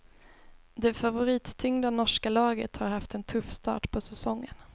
Det favorittyngda norska laget har haft en tuff start på säsongen.